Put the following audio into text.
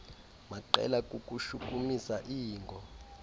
maqela kukushukumisa iingo